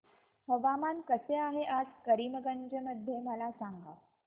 हवामान कसे आहे आज करीमगंज मध्ये मला सांगा